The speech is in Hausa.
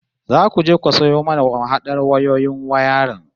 Zaku je ku sayo mana mahadar wayoyin wayarin